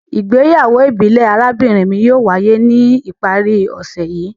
Igbeyawo ibile arabinrin mi yóò waye ni ipari ose yii